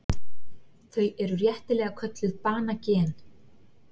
Þau eru réttilega kölluð banagen.